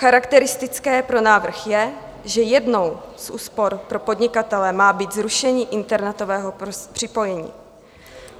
Charakteristické pro návrh je, že jednou z úspor pro podnikatele má být zrušení internetového připojení.